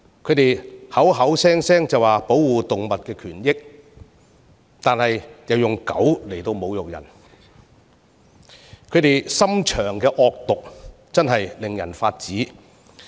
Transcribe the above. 他們聲稱要保護動物權益，卻以"狗"侮辱人，其心腸之惡毒確實令人髮指。